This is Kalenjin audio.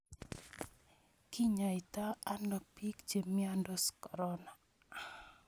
Kinyaitoi ano piik che miandos korona?